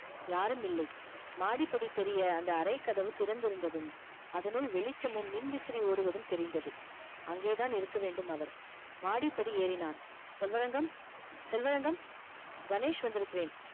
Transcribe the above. யாரும் இல்லை மாடிப்படி தெரிய அந்த அறைக்கதவு திறந்திருந்ததும் அதனுள் வெளிச்சமும் மின்விசிறி ஓடுவதும் தெரிந்தது அங்கே தான் இருக்க வேண்டும் அவர் மாடிப்படி ஏறினான் செல்வரங்கம் செல்வரங்கம் கணேஷ் வந்திருக்கிறேன்